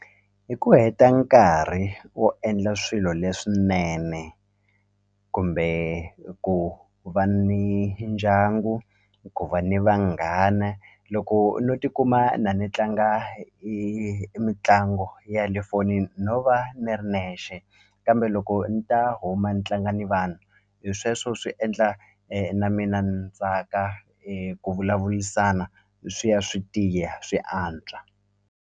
Hi ku heta nkarhi wo endla swilo leswinene kumbe ku va ni ndyangu ku va ni vanghana loko no tikuma na ni tlanga i mitlangu ya le fonini no va ni ri nexe kambe loko ni ta huma ni tlanga ni vanhu hi sweswo swi endla na mina ni tsaka ku vulavurisana swi ya swi tiya swi antswa.